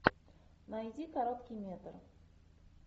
найди короткий метр